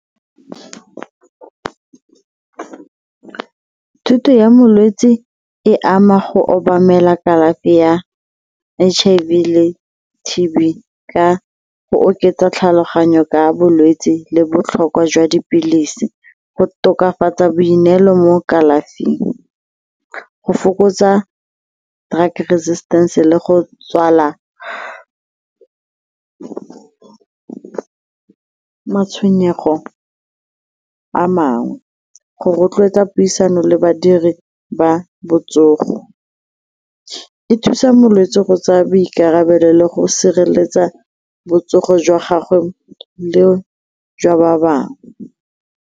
Thuto ya molwetse e ama go obamela kalafi ya H_I_V le T_B ka go oketsa tlhaloganyo ka bolwetse le botlhokwa jwa dipilisi go tokafatsa boineelo mo kalafing go fokotsa drugre resistance le go tswala matshwenyego a mangwe go rotloetsa puisano le badiri ba botsogo. E thusa molwetse go tsaya boikarabelo le go sireletsa botsogo jwa gagwe le jwa ba bangwe.